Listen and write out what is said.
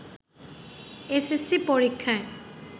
SSC পরীক্ষায়